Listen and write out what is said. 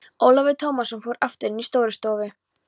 Ólafur Tómasson fór aftur inn í Stórustofu.